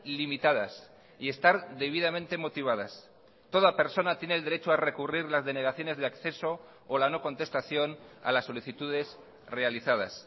limitadas y estar debidamente motivadas toda persona tiene el derecho a recurrir las denegaciones de acceso o la no contestación a las solicitudes realizadas